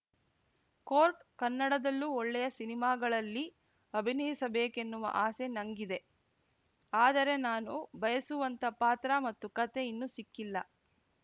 coat ಕನ್ನಡದಲ್ಲೂ ಒಳ್ಳೆಯ ಸಿನಿಮಾಗಳಲ್ಲಿ ಅಭಿನಯಿಸಬೇಕೆನ್ನುವ ಆಸೆ ನಂಗಿದೆ ಆದರೆ ನಾನು ಬಯಸುವಂಥಾ ಪಾತ್ರ ಮತ್ತು ಕತೆ ಇನ್ನು ಸಿಕ್ಕಿಲ್ಲ